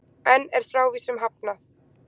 Enn er frávísun hafnað